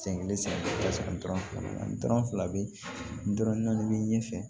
Sen kelen ka sɔrɔ dɔrɔn fila dɔrɔn fila bɛ nan'a bɛ ɲɛfɛ